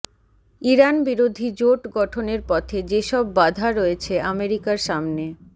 Iran বিরোধী জোট গঠনের পথে যেসব বাধা রয়েছে আমেরিকার সামনে